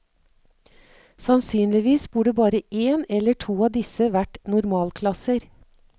Sannsynligvis burde bare en eller to av disse vært normalklasser.